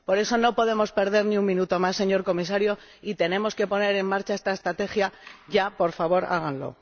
Por eso, no podemos perder ni un minuto más, señor Comisario, y tenemos que poner en marcha esta estrategia ya, por favor, háganlo.